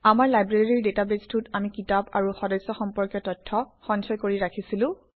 আমাৰ লাইব্ৰেৰী ডাটাবেছটোত আমি কিতাপ আৰু সদস্য সম্পৰ্কীয় তথ্য সঞ্চয় কৰি ৰাখিছিলো